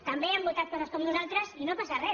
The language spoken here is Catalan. també han votat coses com nosaltres i no passa res